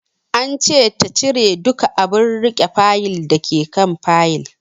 An ce ta cire duka abun riƙe Fayil dake kan Fayil